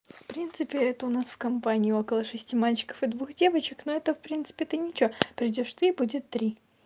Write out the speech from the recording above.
в принципе это у нас в компании около шести мальчиков и двух девочек но это в принципе ты ничего придёшь ты и будет три